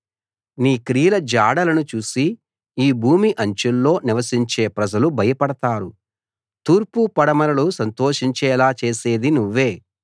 నీ క్రియలు జాడలను చూసి ఈ భూమి అంచుల్లో నివసించే ప్రజలు భయపడతారు తూర్పు పడమరలు సంతోషించేలా చేసేది నువ్వే